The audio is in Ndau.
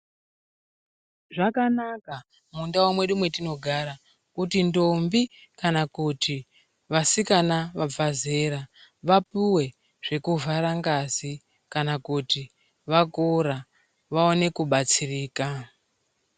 Zvakanaka mundau mwedu mwetinogara, kuti ndombi kana kuti vasikana vabva zera, vapuwe zvekuvhara ngazi kana kuti vakura vaone kubatsirika.